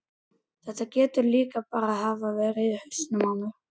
Þetta getur líka bara hafa verið í hausnum á mér.